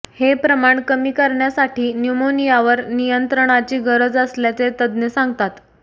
हे प्रमाण कमी करण्यासाठी न्युमोनियावर नियंत्रणाची गरज असल्याचे तज्ज्ञ सांगतात